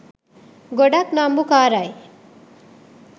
ගොඩක් නම්බුකාරයි.